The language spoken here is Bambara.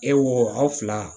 E wo aw fila